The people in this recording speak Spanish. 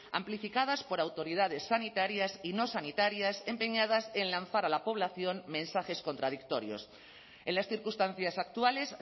amplificadas por autoridades sanitarias y no sanitarias empeñadas en lanzar a la población mensajes contradictorios en las circunstancias actuales